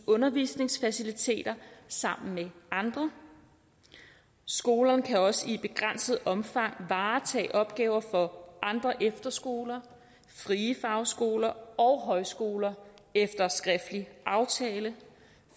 undervisningsfaciliteter sammen med andre skolerne kan også i begrænset omfang varetage opgaver for andre efterskoler frie fagskoler og højskoler efter skriftlig aftale